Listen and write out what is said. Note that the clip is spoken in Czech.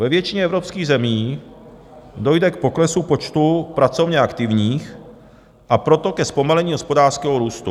Ve většině evropských zemí dojde k poklesu počtu pracovně aktivních, a proto ke zpomalení hospodářského růstu.